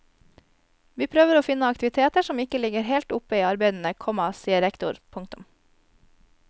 Vi prøver å finne aktiviteter som ikke ligger helt oppe i arbeidene, komma sier rektor. punktum